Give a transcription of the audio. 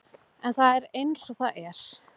En það er eins og það er.